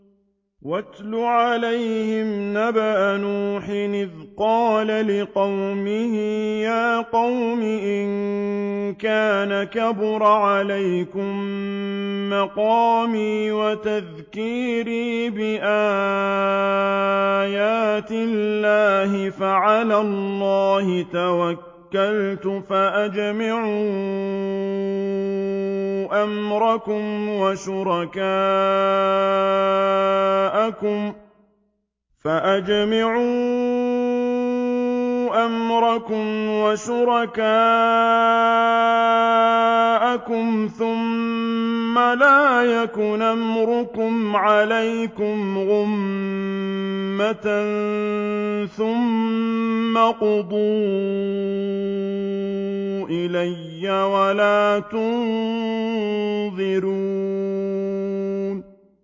۞ وَاتْلُ عَلَيْهِمْ نَبَأَ نُوحٍ إِذْ قَالَ لِقَوْمِهِ يَا قَوْمِ إِن كَانَ كَبُرَ عَلَيْكُم مَّقَامِي وَتَذْكِيرِي بِآيَاتِ اللَّهِ فَعَلَى اللَّهِ تَوَكَّلْتُ فَأَجْمِعُوا أَمْرَكُمْ وَشُرَكَاءَكُمْ ثُمَّ لَا يَكُنْ أَمْرُكُمْ عَلَيْكُمْ غُمَّةً ثُمَّ اقْضُوا إِلَيَّ وَلَا تُنظِرُونِ